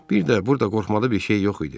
Bir də burda qorxmalı bir şey yox idi.